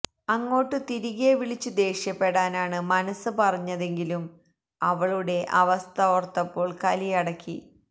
അങ്ങോട്ടു തിരികെ വിളിച്ചു ദേഷ്യപ്പെടാനാണ് മനസ്സ് പറഞ്ഞെതെങ്കിലും അവളുടെ അവസ്ഥ ഓര്ത്തപ്പോള് കലിയടക്കി